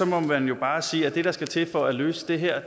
må man jo bare sige at det der skal til for at løse det her